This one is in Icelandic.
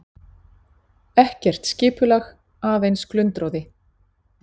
Ekkert skipulag, aðeins glundroði.